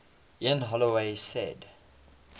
ian holloway said